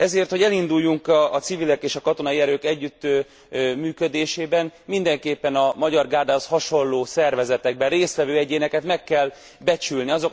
Ezért, hogy elinduljunk a civilek és a katonai erők együttműködésében, mindenképpen a Magyar Gárdához hasonló szervezetekben részt vevő egyéneket meg kell becsülni.